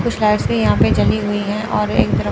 कुछ लाइट्स भी यहां पे जली हुई है और एक तरफ--